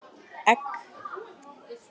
Egg